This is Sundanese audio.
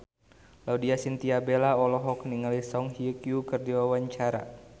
Laudya Chintya Bella olohok ningali Song Hye Kyo keur diwawancara